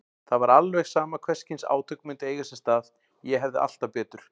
Það var alveg sama hvers kyns átök myndu eiga sér stað, ég hefði alltaf betur.